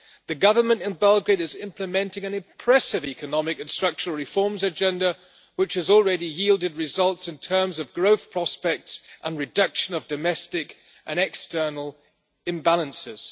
The government in Belgrade is implementing an impressive economic and structural reforms agenda which has already yielded results in terms of growth prospects and the reduction of domestic and external imbalances.